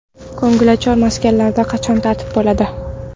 Ko‘ngilochar maskanlarda qachon tartib bo‘ladi?.